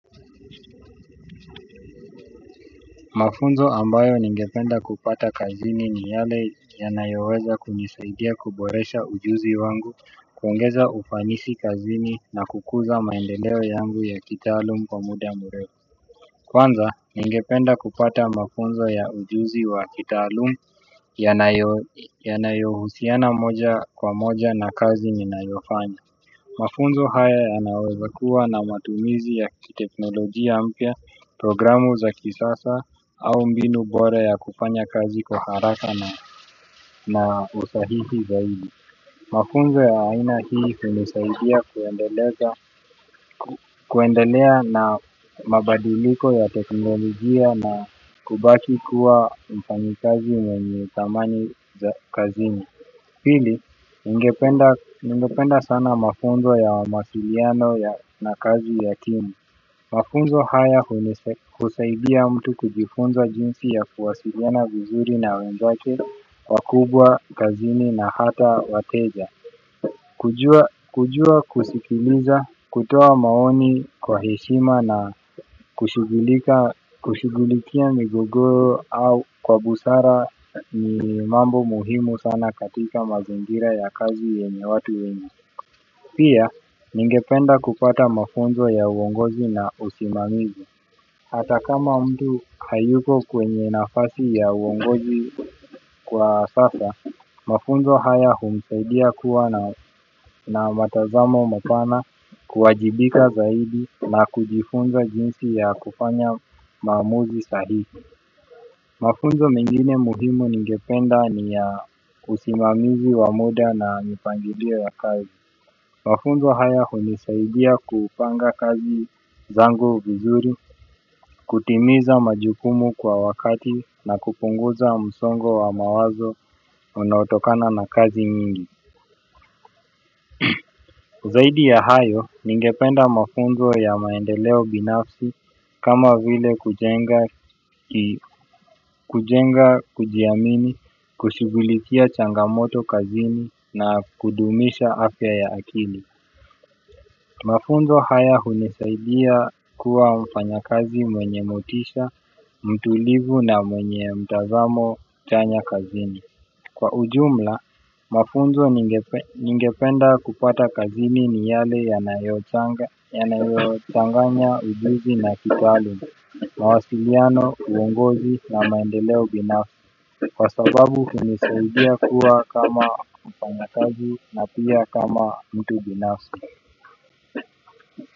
Mafunzo ambayo ningependa kupata kazini ni yale yanayoweza kunisaidia kuboresha ujuzi wangu. Kuongeza ufanisi kazini na kukuza maendeleo yangu ya kitaalum kwa muda mrefu. Kwanza ningependa kupata mafunzo ya ujuzi wa kitaalum yanayohusiana moja kwa moja na kazi ninayofanya. Mafunzo haya yanaweza kuwa na matumizi ya kiteknolojia mpya, programu za kisasa au mbinu bore ya kupanya kazi kwa haraka na usahihi zaidi. Mafunzo ya aina hii hunisaidia kuendelea na mabadiliko ya teknolojia na kubaki kuwa mfanyikazi mwenye thamani za kazini. Hili ningependa sana mafunzo ya mawamasiliano na kazi ya timu. Mafunzo haya husaidia mtu kujifunza jinsi ya kuwasiliana vizuri na wenzake wakubwa kazini na hata wateja. Kujua kujua kusikiliza kutoa maoni kwa heshima na kushughulika kushughulikia migogoro au kwa busara ni mambo muhimu sana katika mazingira ya kazi yenye watu wenye pia ningependa kupata mafunzo ya uongozi na usimamizi. Hata kama mtu hayuko kwenye nafasi ya uongozi kwa sasa, mafunzo haya humsaidia kuwa na matazamo mapana kuwajibika zaidi na kujifunza jinsi ya kufanya maamuzi sahihi. Mafunzo mengine muhimu ningependa ni ya usimamizi wa muda na mipangilio ya kazi. Mafunzo haya hunisaidia kupanga kazi zangu vizuri. Kutimiza majukumu kwa wakati na kupunguza msongo wa mawazo unaotokana na kazi nyingi zaidi ya hayo ningependa mafunzo ya maendeleo binafsi kama vile kujenga kujenga kujiamini kushughulikia changamoto kazini na kudumisha afya ya akili mafunzo haya hunisaidia kuwa mfanyakazi mwenye motisha mtulivu na mwenye mtazamo chanya kazini kwa ujumla mafunzo ningependa kupata kazini ni yale yanayochanganya ujuzi na kitaalum mawasiliano uongozi na maendeleo binafsi kwa sababu hunisaidia kuwa kama mfanyakazi na pia kama mtu binafsi.